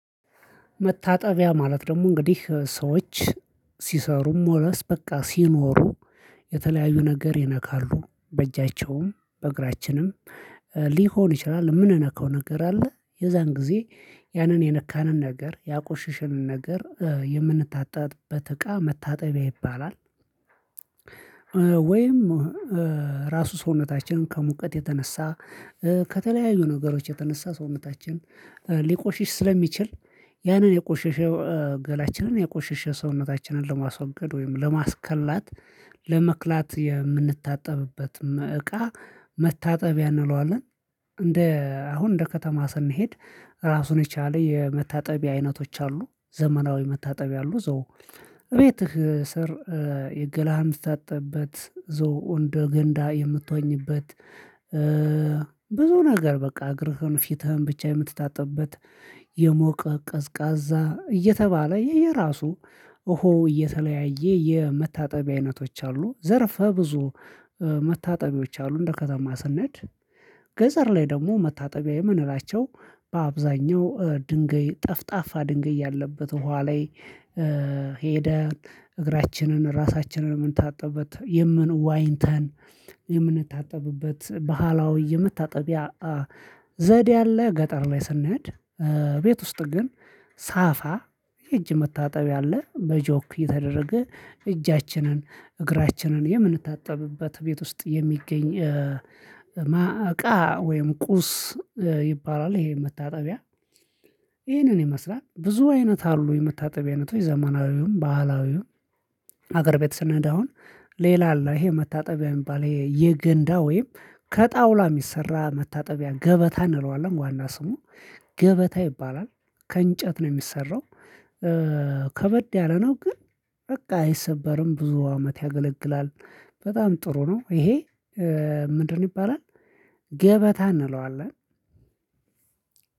መታጠቢያ ማለት ደግሞ እንግዲህ ሰዎች ሲሰሩም ሆነ በቃ ሲኖሩ የተለያዩ ነገር ይነካሉ በእጃቸውም በእግራችንም ሊሆን ይችላል የምንነካው ነገር አለ የዚያን ጊዜ ያንን የነካንን ነገር ያቆሸሽንን ነገር የምንታጣበት እቃ መታጠቢያ ይባላል። ወይም ራሱ ሰውነታችንን ከሙቀት የተነሳ ከተለያዩ ነገሮች የተነሳ ሰውነታችን ሊቆሽሽ ስለሚችል ያንን የቆሸሸው ገላችንን የቆሸሸ ሰውነታችንን ለማስወገድ ወይም ለማስከላት ለመቅላት የምንታጠብበት እቃ መታጠቢያ እንለዋለን። እንደ አሁን እንደ ከተማ ስንሄድ ራሱን የቻለ የመታጠቢ አይነቶች አሉ ዘመናዊ መታጠቢ አሉ። ቤት ስር የገላሃን ምትታጠብበት እዚያው እንደ ገንዳ የምትወኝበት ብዙ ነገር በቃ እግርህን ፊትህን ብቻ የምትታጠብበት የሞቀ ቀዝቃዛ እየተባለ የየራሱ እሆ የተለያየ የመታጠቢያ አይነቶች አሉ ዘርፈ ብዙ መታጠቢዎች አሉ። እንደ ከተማ ስንሄድ ገጠር ላይ ደግሞ መታጠቢያ የምንላቸው በአብዛኛው ድንገይ ጠፍጣፋ ድንገይ ያለበት ውሃ ላይ ሄደ እግራችንን ራሳችንን የምንታጠብበት የምን ዋኝተን የምንታጠብበት ባህላዊ የመታጠቢያ ዘዴ አለ። ገጠር ላይ ስንሄድ ቤት ውስጥ ግን ሳፋ እጅ መታጠብ አለ በጆክ እየተደረገ እጃችንን እግራችንን የምንታጠብበት ቤት ውስጥ የሚገኝ እቃ ወይም ቁስ ይባላል። ይሄ መታጠቢያ ይሄንን ይመስላል ብዙ አይነት አሉ የመታጠቢያ አይነቶች ዘመናዊውም ባህላዊውም። ሀገር ቤት ስንሄድ አሁን ሌላ አለ ይሄ መታጠቢያ የሚባል የገንዳ ወይም ከጣውላ የሚሰራ መታጠቢያ ገበታ እንለዋለን ዋና ስሙ ገበታ ይባላል ከእንጨት ነው የሚሰራው። ከበድ ያለ ነው ግን በቃ አይሰበርም ብዙ አመት ያገለግላል። በጣም ጥሩ ነው። ይሄ ምንድን ይባላል? ገበታ እንለዋለን።